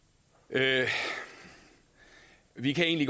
havde vi kan i